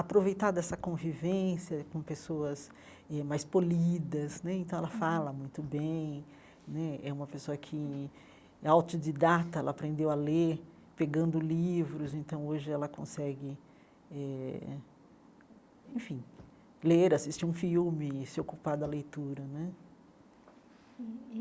aproveitar dessa convivência com pessoas eh mais polidas né, então ela fala muito bem né, é uma pessoa que é autodidata, ela aprendeu a ler pegando livros, então hoje ela consegue eh, enfim, ler, assistir um filme, se ocupar da leitura né.